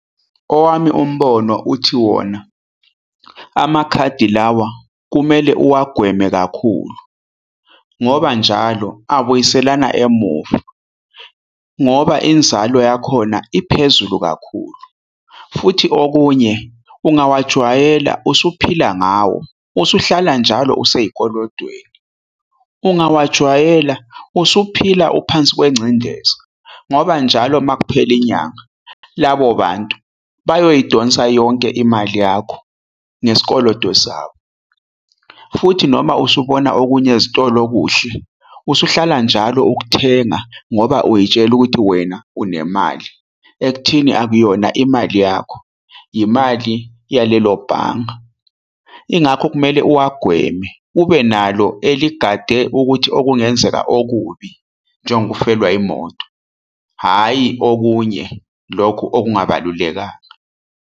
Owami umbono uthi wona, amakhadi lawa kumele uwagweme kakhulu. Ngoba njalo abuyiselana emuva, ngoba inzalo yakhona iphezulu kakhulu. Futhi okunye, ungawajwayela usuphila ngawo, usuhlala njalo useyikolotweni. Ungawajwayela usuphila phansi kwencendezi ngoba njalo uma kuphela inyanga, labo bantu bayoyidonsa yonke imali yakho ngesikoloto sakho. Futhi noma usubona okunye ezitolo okuhle, usuhlala njalo ukuthenga ngoba uyitshela ukuthi wena unemali. Ekutheni akuyona imali yakho imali yalelo bhanga. Yingakho kumele uwagweme ubenalo eligade ukuthi okungenzeka okubi njengokufelwa imoto. Hhayi okunye lokhu okungabalulekanga.